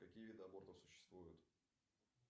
какие виды абортов существуют